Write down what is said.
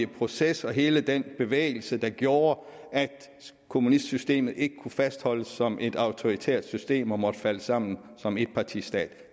proces og hele den bevægelse der gjorde at kommunistsystemet ikke kunne fastholdes som et autoritært system og måtte falde sammen som etpartistat